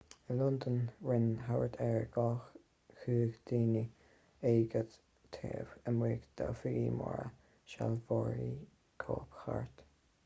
i londain rinne thart ar 200 duine agóid taobh amuigh d'oifigí móra sealbhóirí cóipchirt